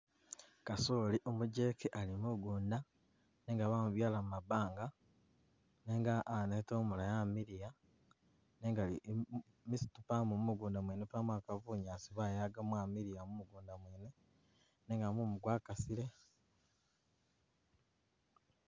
Kasooli umujeke ali mugunda nenga bamubyala mu mabanga nenga aneta umulayi amiliya nenga bisitu pamo mu mugunda mwene pamo akaba bunyaasi bayaga mwamiliya mu mugunda mwene nenga mumu gwakasile.